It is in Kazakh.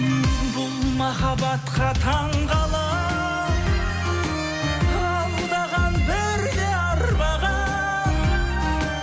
бұл махаббатқа таңғаламын алдаған бірде арбаған